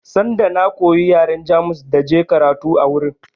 Sanda na koyi yaren Jamus da je karatu a wurin